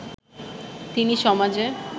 তিনি সমাজে